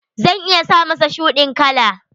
Zan iya sa masa shuɗin kala.